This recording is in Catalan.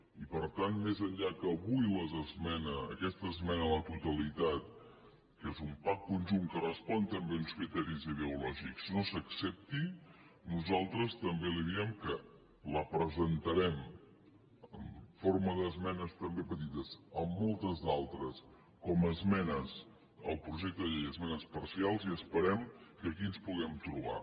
i per tant més enllà que avui aquesta esmena a la totalitat que és un packque respon també a uns criteris ideològics no s’accepti nosaltres també li diem que la presentarem en forma d’esmenes també petites amb moltes d’altres com a esmenes al projecte de llei esmenes parcials i esperem que aquí ens puguem trobar